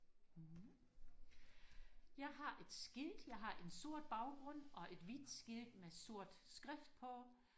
jeg har et skilt jeg har en sort baggrund og et hvidt skilt med sort skrift på